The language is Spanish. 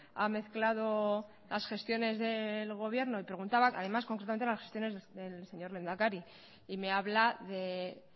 ha mezclado las gestiones del gobierno y preguntaba además concretamente las gestiones del señor lehendakari y me habla de